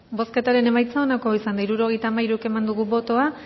bozketaren emaitza onako izan da hirurogeita hamairu eman dugu bozka